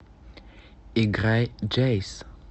играй джэйс